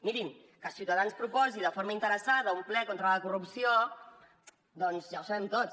mirin que ciutadans proposi de forma interessada un ple contra la corrupció doncs ja ho sabem tots